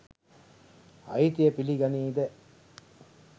අයිතිය පිලි ගනීද?